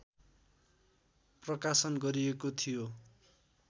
प्रकाशन गरिएको थियो।